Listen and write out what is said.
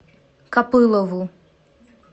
копылову